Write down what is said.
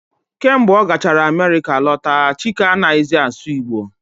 Kemgbe ọ gachara Amerịka lọta, Chike anaghị zi asụ Igbo